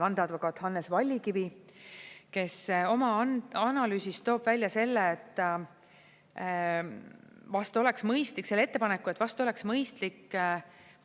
Vandeadvokaat Hannes Vallikivi, kes oma analüüsis toob välja selle ettepaneku, et vast oleks mõistlik